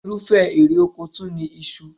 Irúfẹ́ èrè oko tún ni iṣu